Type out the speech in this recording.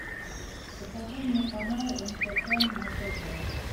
покажи мне канал нхк на тв